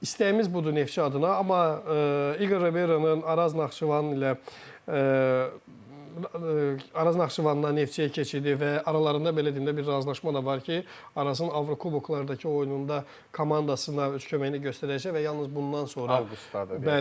İstəyimiz budur Neftçi adına, amma İqorun Araz Naxçıvan ilə Araz Naxçıvandan Neftçiyə keçidi və aralarında belə deyim də, bir razılaşma da var ki, Arazın Avrokuboklardakı oyununda komandasına öz köməyini göstərəcək və yalnız bundan sonra avqustdadır.